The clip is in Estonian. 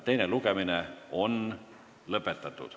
Teine lugemine on lõppenud.